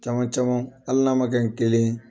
Caman caman hali n'a ma kɛ ni kelen ye.